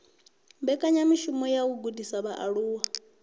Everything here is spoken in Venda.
mbekanyamishumo dza u gudisa vhaaluwa